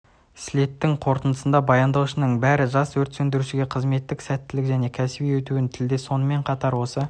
слеттің қорытындысында баяндаушылардың бәрі жас өрт сөндірушілерге қызметте сәттілік және кәсіби өсуін тіледі сонымен қатар осы